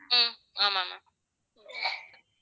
ஹம் ஆமா ma'am